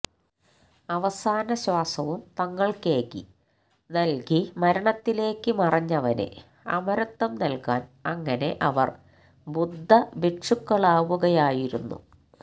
അവസാന ശ്വാസവും തങ്ങള്ക്കേകി നല്കി മരണത്തിലേക്ക് മറഞ്ഞവന് അമരത്വം നല്കാന് അങ്ങനെ അവര് ബുദ്ധഭിക്ഷുക്കളാവുകയായിരുന്നു